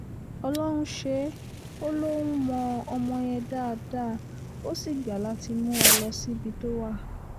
ọlọ́run ṣe é ó lóun mọ ọmọ yẹn dáadáa ó sì gbà láti mú wa lọ síbi tó wà